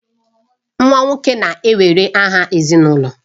Nwa nwoke na-ewere aha ezinụlọ